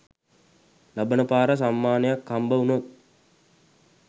ලබන පාර සම්මානයක් හම්බ වුනොත්